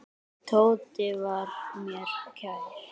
Tóti var mér kær.